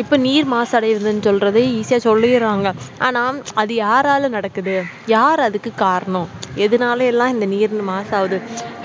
இப்போ நீர் மாசு அடையுதுன்னு சொல்லறது வந்து easy ஆஹ் சொல்லிறாங்க ஆனா அது யாரால நடக்குது யார் அதுக்கு காரணம் எதுனால எல்லாம் இந்த நீர் மாசு அடையுது